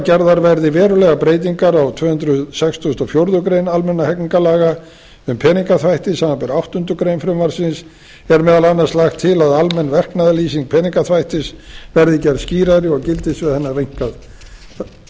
gerðar verði verulegar breytingar á tvö hundruð sextugustu og fjórðu grein almennra hegningarlaga um peningaþvætti samanber áttundu greinar frumvarpsins er meðal annars lagt til að almenn verknaðarlýsing peningaþvættis verði gerð skýrari og gildissvið hennar rýmkað